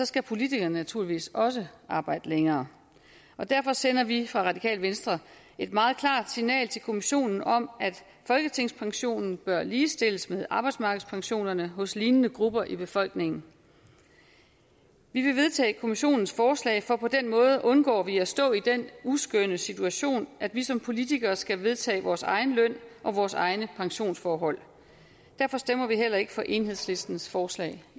skal politikerne naturligvis også arbejde længere derfor sender vi fra radikale venstre et meget klart signal til kommissionen om at folketingspensionen bør ligestilles med arbejdsmarkedspensionerne hos lignende grupper i befolkningen vi vil vedtage kommissionens forslag for på den måde undgår vi at stå i den uskønne situation at vi som politikere skal vedtage vores egen løn og vores egne pensionsforhold derfor stemmer vi heller ikke for enhedslistens forslag